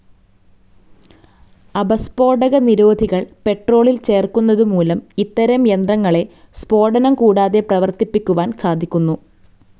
അപസ്ഫോടകനിരോധികൾ പെട്രോളിൽ ചേർക്കുന്നതുമൂലം ഇത്തരം യന്ത്രങ്ങളെ സ്ഫോടനം കൂടാതെ പ്രവർത്തിപ്പിക്കുവാൻ സാധിക്കുന്നു.